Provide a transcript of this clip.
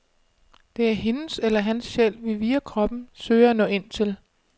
Det er hendes eller hans sjæl, vi via kroppen søger at nå ind til.